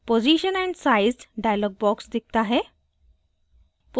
position and size dialog box दिखता है